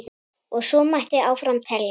Og svo mætti áfram telja.